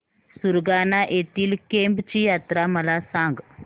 सुरगाणा येथील केम्ब ची यात्रा मला सांग